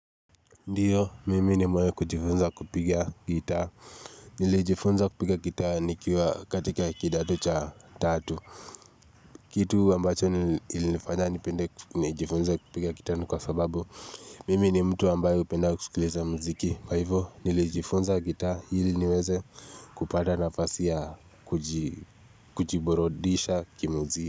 Ndiyo, mimi ni mwenye kujifunza kupiga gitaa. Nilijifunza kupiga gitaa nikiwa katika kidato cha tatu. Kitu ambacho ilinifanya nipende kujifunza kupiga gitaa ni kwa sababu. Mimi ni mtu ambaye hupenda kusikiliza mziki. Kwa hivyo, nilijifunza gitaa ili niweze kupata nafasi ya kujiburudisha kimzi.